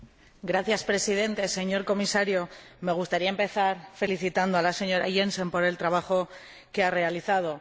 Señor Presidente, señor Comisario, me gustaría empezar felicitando a la señora Jensen por el trabajo que ha realizado.